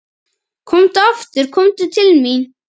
Komdu aftur komdu til mín.